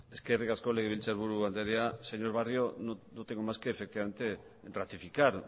eskerrik asko legebiltzar buru anderea señor barrio no tengo más que efectivamente ratificar